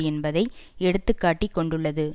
என்பதை எடுத்துக்காட்டிக் கொண்டுள்ளது